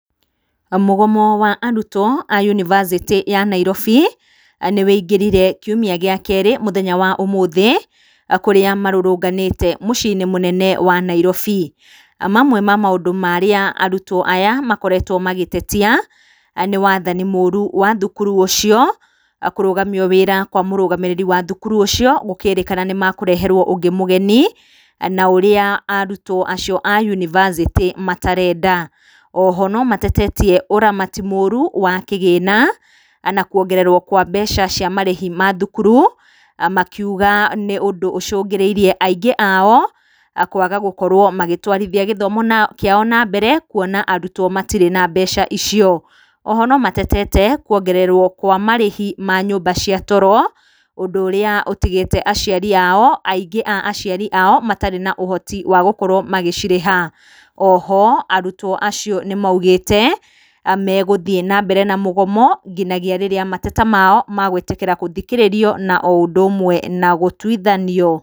Mũgomo wa arutwo a yunivasĩtĩ ya Nairobi nĩ ũigĩrire kiumia gĩa kerĩ mũthenya wa ũmũthĩ kũrĩa marũrũnganĩte muciĩ-inĩ munene wa Nairobi. Na mamwe ma maũndũ marĩa arutwo aya makoretwo magĩtetia nĩ wathani mũũru wa thukuru ũcio. Kũrũgamio wĩra wa mũrũgamĩrĩri wa thukuru ũcio gũkĩrĩkana nĩ mekũreherwo ũngĩ mũgeni na ũrĩa arutwo acio a yunivasĩtĩ matarenda. O ho no matetetie ũramati mũũru wa kĩgĩna na kuongererwo kwa mbeca cia marĩhi ma thukuru. Makiuga nĩ ũndũ ũcũngĩrĩirie aingĩ ao kwaga gũkorwo magĩtwarithia gĩthomo kĩao nambere kuona arutwo matirĩ na mbeca icio. O ho no matetete kuongererwo kwa marĩhi ma nyũmba cia toro ũndũ ũrĩa ũtigĩte aciari ao aingĩ a aciari ao matarĩ ha ũhoti wa gũkorwo magĩcirĩha. O ho arutwo acio nĩ moigĩte megũthiĩ na mbere na mũgomo nginyagia rĩrĩa mateta mao magwĩtĩkĩra gũthikĩrĩrio na o ũndũ ũmwe na gũtwithanio.